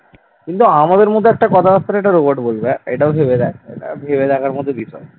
কিন্তু আমাদের মধ্যে কথাবার্তা একটা robot বলবে এটাও ভেবে দেখ এটাও ভেবে দেখার মতন বিষয় ।